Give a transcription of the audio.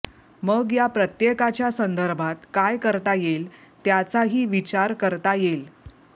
मग या प्रत्येकाच्या संदर्भात काय करता येईल त्याचाही विचार करता येईल